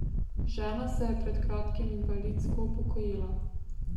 Žena se je pred kratkim invalidsko upokojila.